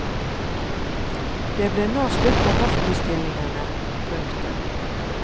Det ble nå slutt på hoffbestillingene. punktum